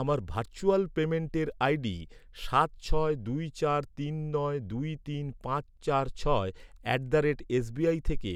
আমার ভার্চুয়াল পেমেন্টের আইডি সাত ছয় দুই চার তিন নয় দুই তিন পাঁচ চার ছয় অ্যাট দ্য রেট এসবিআই থেকে